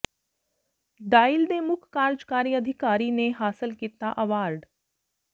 dial ਦੇ ਮੁੱਖ ਕਾਰਜਕਾਰੀ ਅਧਿਕਾਰੀ ਨੇ ਹਾਸਲ ਕੀਤਾ ਅਵਾਰਡ